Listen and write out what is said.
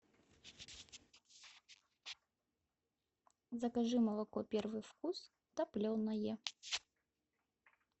закажи молоко первый вкус топленое